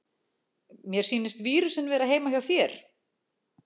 Mér sýnist vírusinn vera heima hjá þér.